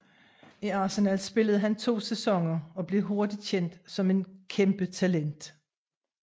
I Arsenal spillede han to sæsoner og blev hurtigt kendt som et kæmpetalent